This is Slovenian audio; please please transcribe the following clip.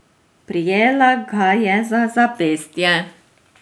Prijela ga je za zapestje.